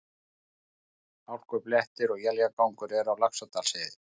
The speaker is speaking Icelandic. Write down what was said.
Hálkublettir og éljagangur eru á Laxárdalsheiði